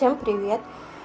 то привет